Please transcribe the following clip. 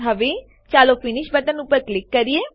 હવે ચાલો finish button ઉપર ક્લિક કરીએ